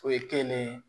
O ye kenige